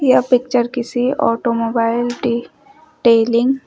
यह पिक्चर किसी ऑटोमोबाइल टी टेलिंग --